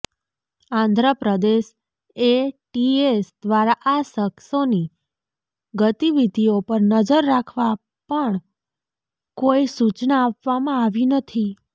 Andhra Pradesh ATS દ્વારા આ શખસોની ગતિવિધિઓ પર નજર રાખવા પણ કોઈ સૂચના આપવામાં આવી નથી